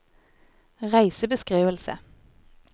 reisebeskrivelse